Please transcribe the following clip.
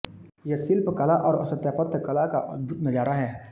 यह शिल्प कला और स्थापत्य कला का अद्भुत नजारा है